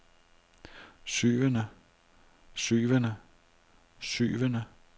syvende syvende syvende